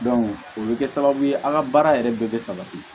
o bɛ kɛ sababu ye an ka baara yɛrɛ bɛɛ bɛ sabati